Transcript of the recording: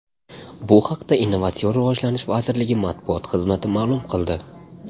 Bu haqda Innovatsion rivojlanish vazirligi matbuot xizmati ma’lum qildi .